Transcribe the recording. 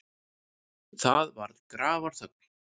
Það var grafarþögn.